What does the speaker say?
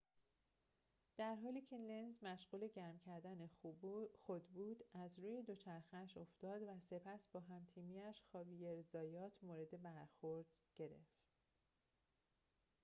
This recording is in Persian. در حالی که لنز مشغول گرم کردن خود بود از روی دوچرخه‌اش افتاد و سپس با هم‌تیمی‌اش خاویر زایات مورد برخورد کرد